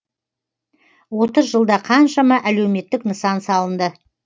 отыз жылда қаншама әлеуметтік нысан салынды